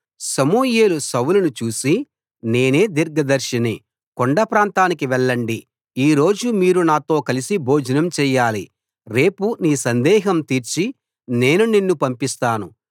సమూయేలు సౌలును చూసి నేనే దీర్ఘదర్శిని కొండ ప్రాంతానికి వెళ్ళండి ఈరోజు మీరు నాతో కలసి భోజనం చెయ్యాలి రేపు నీ సందేహం తీర్చి నేను నిన్ను పంపిస్తాను